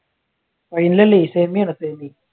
ഫൈനലല്ല സെമിയാണ് സെമി.